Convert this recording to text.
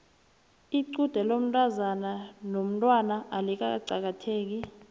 lqude lomntazana onomtwana alikaqakatheki